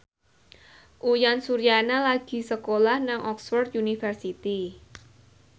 Uyan Suryana lagi sekolah nang Oxford university